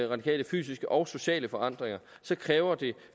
radikale fysiske og sociale forandringer kræver det